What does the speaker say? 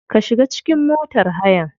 Ka shiga cikin motar hayan.